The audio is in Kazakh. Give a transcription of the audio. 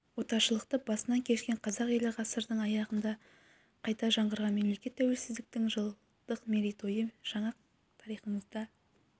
отаршылдықты басынан кешкен қазақ елі ғасырдың аяғында қайта жаңғырған мемлекет тәуелсіздіктің жылдық мерейтойы жаңа тарихымызда